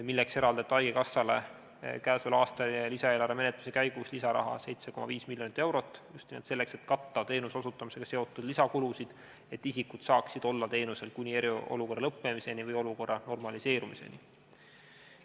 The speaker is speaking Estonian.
Selleks eraldati haigekassale k.a lisaeelarve menetluse käigus lisaraha 7,5 miljonit eurot, just nimelt selleks, et katta teenuse osutamisega seotud lisakulusid, et inimesed saaksid teenuseid kuni eriolukorra lõppemiseni või olukorra normaliseerumiseni.